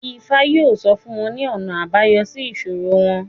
Ifá yóò sọ fún wọn ní ọ̀nà àbáyọ sí ìṣòro wọn